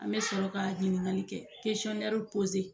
An be sɔrɔ ka ɲininkaliw kɛ kesɔnnɛriw poze